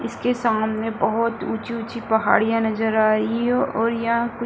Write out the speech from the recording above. इसके सामने बहोत ऊँची-ऊँची पहाड़ियां नजर आ रही है और यहाँ कुछ --